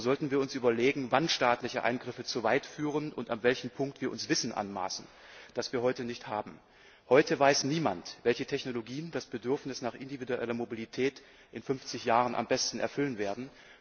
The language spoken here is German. Nur sollten wir uns überlegen, wann staatliche Eingriffe zu weit führen und ab welchem Punkt wir uns Wissen anmaßen, das wir heute nicht haben. Heute weiß niemand, welche Technologien das Bedürfnis nach individueller Mobilität in 50 Jahren am besten erfüllen werden.